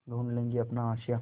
ढूँढ लेंगे अपना आशियाँ